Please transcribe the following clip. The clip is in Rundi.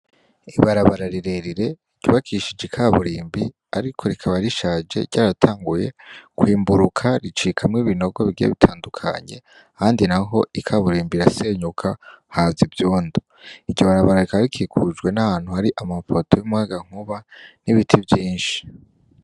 Ibarabara rirerire ryubakishije ikaburimbi ariko rikaba rishaje ryaratanguye kwimburuka ricikamwo ibinogo bigiye bitandukanye ahandi naho ikaburimbi irasenyuka haza ivyondo iryo barabara rikaba rikikujwe namapoto yumuyagankuba n'ibiti vyinshi.